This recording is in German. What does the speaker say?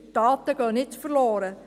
Die Daten gehen nicht verloren.